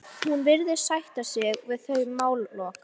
Hún virðist sætta sig við þau málalok.